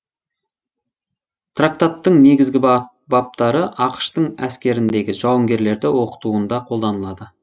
трактаттың негізгі баптары ақш тың әскеріндегі жауынгерлерді оқытуында қолданылады